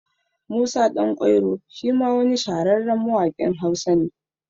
Musa Ɗan kwairo shima wani shahararren mawaƙin Hausa ne